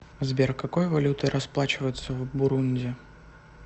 сбер какой валютой расплачиваются в бурунди